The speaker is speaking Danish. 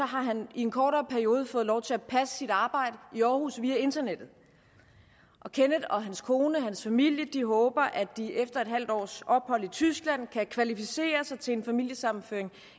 har han i en kortere periode fået lov til at passe sit arbejde i aarhus via internettet og kenneth og hans kone og hans familie håber at de efter et halvt års ophold i tyskland kan kvalificere sig til en familiesammenføring